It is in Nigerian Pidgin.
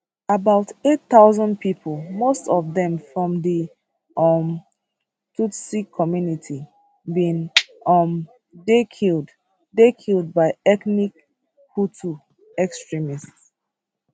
about 800000 pipo most of dem from di um tutsi community bin um dey killed dey killed by ethnic hutu extremists